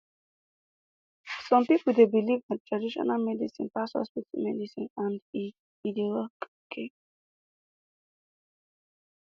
some pipo dey believe traditional medicine pass hospital medicine and e e dey ok